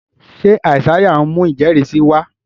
ṣe Isaiah ń mú ijẹrisi sí wá?